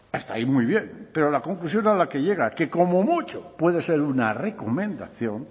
hasta ahí muy bien pero la conclusión a la que llega que como mucho puede ser una recomendación